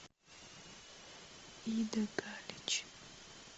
ида галич